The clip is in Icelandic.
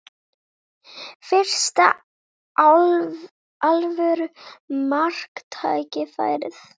Fyrsta alvöru marktækifærið